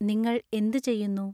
നിങ്ങൾ എന്ത് ചെയ്യുന്നു